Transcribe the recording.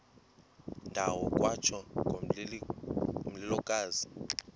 ndawo kwatsho ngomlilokazi